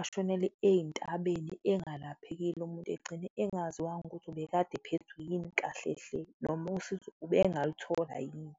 ashonele ezintabeni, engalaphekile, umuntu egcine engaziwanga ukuthi ubekade uphethwe yini kahle hle noma usizo ubengaluthola yini.